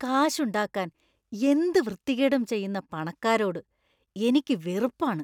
കാശുണ്ടാക്കാൻ എന്ത് വൃത്തികേടും ചെയ്യുന്ന പണക്കാരോട് എനിക്ക് വെറുപ്പാണ്.